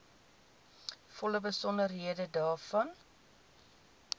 volle besonderhede daarvan